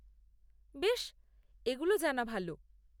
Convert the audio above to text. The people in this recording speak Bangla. বেশ! এগুলো জানা ভাল।